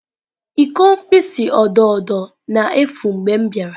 Iko mkpịsị odo odo na-efu mgbe m bịara.